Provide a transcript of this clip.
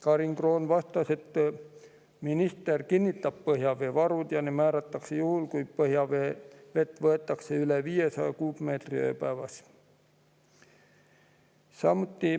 Karin Kroon vastas, et minister kinnitab põhjaveevarud ja need määratakse juhul, kui põhjavett võetakse üle 500 kuupmeetri ööpäevas.